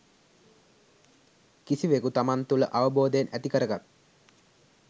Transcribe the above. කිසිවෙකු තමන් තුළ අවබෝධයෙන් ඇති කරගත්